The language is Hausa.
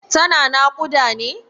Tana naƙuda ne?